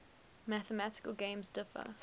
mathematical games differ